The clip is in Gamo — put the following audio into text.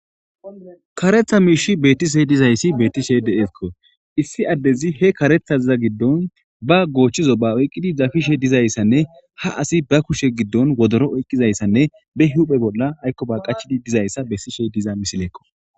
Karetha miishi beetishe dizayssi betishe deesko issi addezi he karethaza giddon ba goochchizo ba oyqqidi zafishe dizayssanne ha asi ba kushe giddon wodoro oyqqizayssanne be huphe bolla aykko ba qachidi dizayssa bessishe diza misileekko.